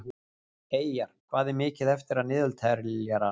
Eyjar, hvað er mikið eftir af niðurteljaranum?